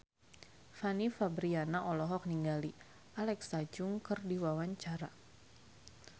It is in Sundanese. Fanny Fabriana olohok ningali Alexa Chung keur diwawancara